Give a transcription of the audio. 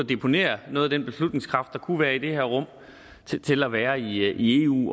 deponere noget af den beslutningskraft der kunne være i det her rum til til at være i eu